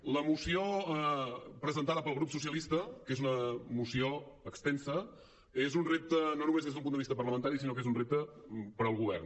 la moció presentada pel grup socialistes que és una moció extensa és un repte no només des d’un punt de vista parlamentari sinó que és un repte per al govern